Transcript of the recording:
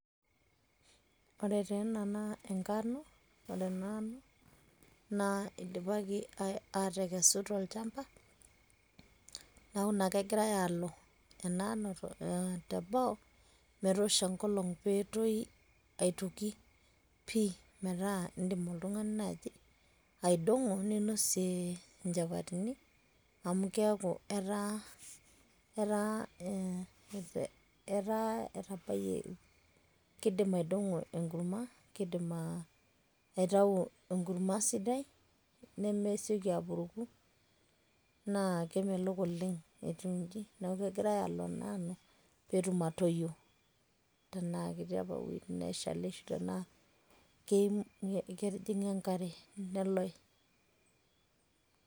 ore taa ena naa enkano. ore ena ano, nidipaki aikesu tolchampa, neeku naa kegirae aalo ena ano teboo metoosho enkolong pee etoyu aitoki pii. metaa idim oltungani naaji aidong'o ninosie nchapatini. amu keeku etaa etabayie, kidim aidongo enkurma, kidim aitau enkurma sidai nemesioki apuruku naa kemelok oleng etiu iji. neeku kegirae aalo ena ano pee etm atoyie tenaa ketii apa iwuejitin neeshali ana ketijinga enkare neloy.